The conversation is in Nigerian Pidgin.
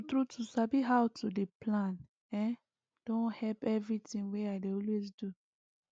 true true to sabi how to dey plan ehnn don help everything wey i dey always do